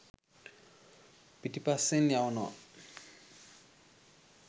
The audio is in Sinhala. පිටිපස්‌සෙන් යවනවා.